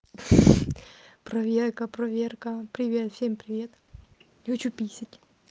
проверка проверка привет всем привет хочу писать